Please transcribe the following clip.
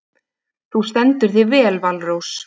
Þú stendur þig vel, Valrós!